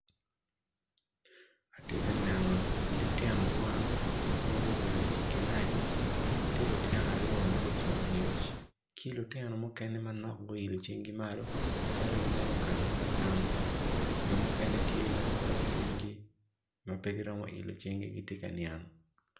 Ati ka neno litino kwan ma gubedo i kilaci ti lutino aryo ma gucung angec ki lutinomukene manok guiolo cingi malo calo gimito gamo lagam jo maukene tye ma guketo cwinygi ma pe giromo ilo cinggi giti ka niang